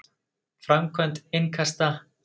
Framkvæmd innkasta?